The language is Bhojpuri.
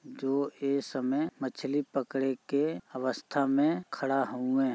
जो ए समय मछली पकड़े के अवस्था में खड़ा हउ ए।